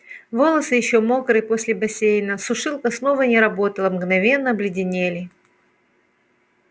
волосы ещё мокрые после бассейна сушилка снова не работала мгновенно обледенели